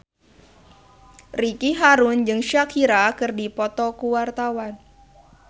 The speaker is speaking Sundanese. Ricky Harun jeung Shakira keur dipoto ku wartawan